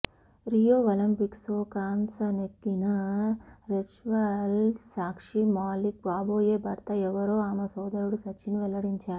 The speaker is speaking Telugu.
రియో ఒలింపిక్స్లో కాంస్య నెగ్గిన రెజ్లర్ సాక్షి మాలిక్ కాబోయే భర్త ఎవరో ఆమె సోదరుడు సచిన్ వెల్లడించాడు